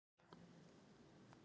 Kambi